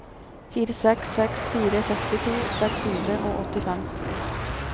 fire seks seks fire sekstito seks hundre og åttifem